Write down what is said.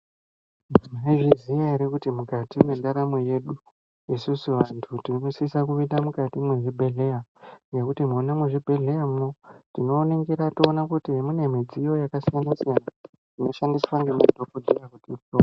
Munozviziya ere kuti mukati mwendaramo yedu isusu anhu tinosise kupinda mukati mwezvibhedhlera, ngekuti mwona muzvibhedhleramwo tinoningira toona kuti mune midziyo yakasiyana siyana inoshandiswa ngemadhokotera.